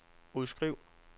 udskriv